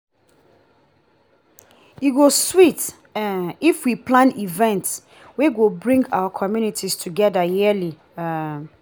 e go sweet um if we plan events wey go bring our community together yearly. um